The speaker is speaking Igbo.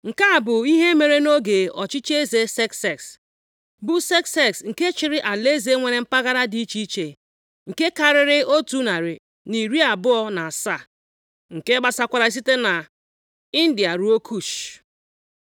Nke a bụ ihe mere nʼoge ọchịchị eze Sekses, bụ Sekses nke chiri alaeze + 1:1 E kewara alaeze a ụzọ isi, nwee isi ọchịchị iri abụọ. Mpaghara ọbụla nọ nʼokpuru otu isi ọchịchị. nwere mpaghara dị iche iche nke karịrị otu narị na iri abụọ na asaa (127), nke gbasakwara site nʼIndia rụọ Kush. + 1:1 Nke bụ mgbago osimiri Naịl